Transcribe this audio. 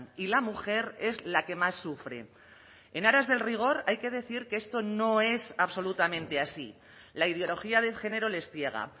y la mujer es la que más sufre en aras del rigor hay que decir que esto no es absolutamente así la ideología de género les ciega